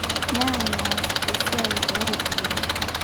Neaany eas esiai ooropiyiani.